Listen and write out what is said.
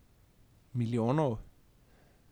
Milijonov?